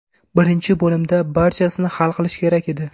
Birinchi bo‘limda barchasini hal qilish kerak edi.